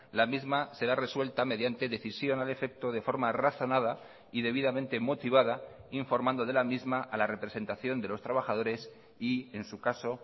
la misma será resuelta mediante decisión al efecto de forma razonada y debidamente motivada informando de la misma a la representación de los trabajadores y en su caso